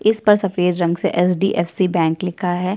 इस पर सफेद रंग से एचडीएफसी बैंक लिखा है।